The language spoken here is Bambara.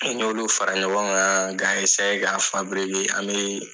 N'a y''olu fara ɲɔgɔn kan ka eseye ka fabirike an bee